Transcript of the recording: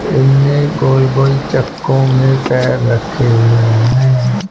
इन्हें गोल-गोल चक्कों में पैर रखे हुए हैं।